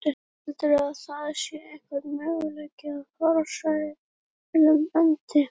Heldurðu að það sé einhver möguleiki á farsælum endi?